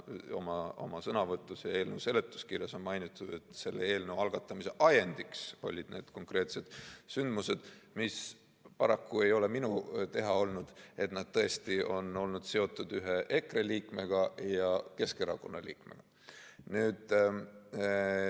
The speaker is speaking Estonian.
Ma oma sõnavõtus ütlesin ja eelnõu seletuskirjas on mainitud, et selle eelnõu algatamise ajendiks olid need konkreetsed sündmused, mis, paraku ei ole see minu teha olnud, tõesti on olnud seotud ühe EKRE liikmega ja ühe Keskerakonna liikmega.